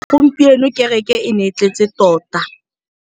Gompieno kêrêkê e ne e tletse tota.